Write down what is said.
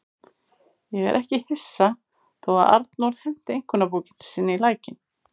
Ég er ekki hissa þó að Arnór henti einkunnabókinni sinni í lækinn.